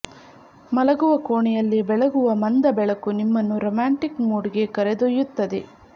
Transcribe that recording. ಮಲಗುವ ಕೋಣೆಯಲ್ಲಿ ಬೆಳಗುವ ಮಂದ ಬೆಳಕು ನಿಮ್ಮನ್ನು ರೊಮ್ಯಾಂಟಿಕ್ ಮೂಡ್ಗೆ ಕರೆದೊಯ್ಯುತ್ತದೆ